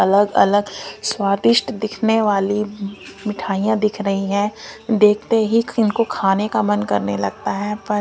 अलग अलग स्वादिष्ट दिखने वाली मिठाइयां दिख रही हैं देखते ही इनको खाने का मन करने लगता है पर--